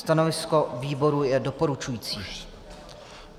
Stanovisko výboru je doporučující.